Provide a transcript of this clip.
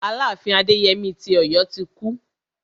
Aláàfin Adéyemí ti Ọ̀yọ́ ti kú.